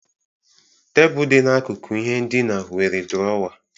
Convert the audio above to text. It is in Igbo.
Tebụl dị n'akụkụ ihe ndina nwere drọwa.